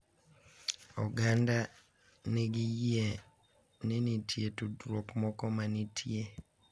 Oganda ni nigi yie ni nitie tudruok moro manitie,